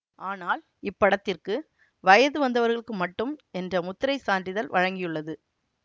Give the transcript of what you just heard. ஆனால் இப்படத்திர்க்கு வயது வந்தவர்களுக்கு மட்டும் என்ற முத்திரைச் சான்றிதழ் வழங்கியுள்ளது